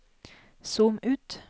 zoom ut